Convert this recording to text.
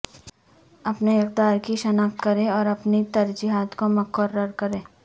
اپنے اقدار کی شناخت کریں اور اپنی ترجیحات کو مقرر کریں